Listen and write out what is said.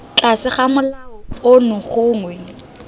tlase ga molao ono gongwe